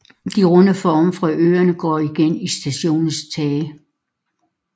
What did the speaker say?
De runde former fra øerne går igen i stationens tage